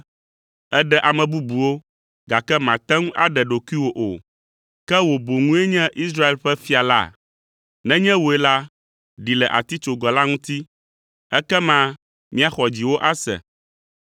“Èɖe ame bubuwo, gake màte ŋu aɖe ɖokuiwò o! Ke wò boŋue nye Israel ƒe fia la? Nenye wòe la, ɖi le atitsoga la ŋuti, ekema míaxɔ dziwò ase.